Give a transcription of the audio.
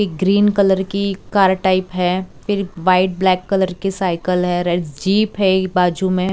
एक green colour की car type है फिर व्हाइट ब्लैक कलर की साइकल है रेड जीप है बाजू में --